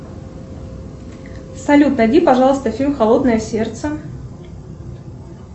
салют найди пожалуйста фильм холодное сердце